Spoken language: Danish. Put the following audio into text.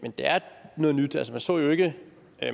der er noget nyt altså man så jo ikke